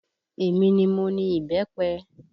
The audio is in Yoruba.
Èmi ni mo ni ìbẹ́pẹ